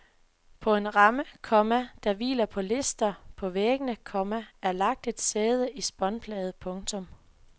På en ramme, komma der hviler på lister på væggene, komma er lagt et sæde i spånplade. punktum